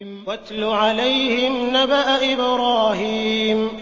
وَاتْلُ عَلَيْهِمْ نَبَأَ إِبْرَاهِيمَ